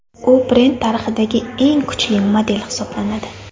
U brend tarixidagi eng kuchli model hisoblanadi.